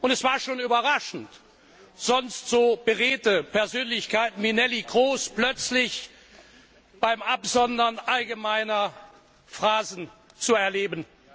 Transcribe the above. Es war schon überraschend, sonst so beredte Persönlichkeiten wie Neelie Kroes plötzlich beim Absondern allgemeiner Phrasen zu erleben.